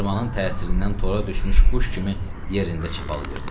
qızdırmanın təsirindən tora düşmüş quş kimi yerində çapalayırdı.